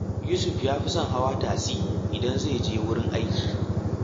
Yusuf ya fi son hawa tasi idan zai je wurin aiki